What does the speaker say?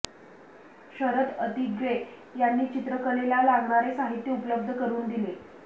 शरद अतिग्रे यांनी चित्रकलेला लागणारे साहित्य उपलब्ध करून दिले